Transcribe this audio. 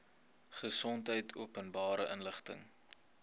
gesondheid openbare inligting